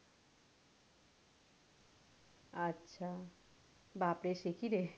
আচ্ছা, বাপরে সেকি রে?